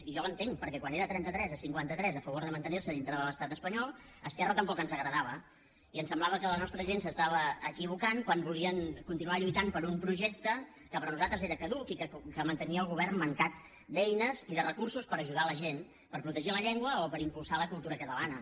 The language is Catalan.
i jo l’entenc perquè quan era trenta tres a cinquanta tres a favor de mantenir se dintre de l’estat espanyol a esquerra tampoc ens agradava i ens semblava que la nostra gent s’equivocava quan volien continuar lluitant per un projecte que per nosaltres era caduc i que mantenia el govern mancat d’eines i de recursos per ajudar la gent per protegir la llengua o per impulsar la cultura catalana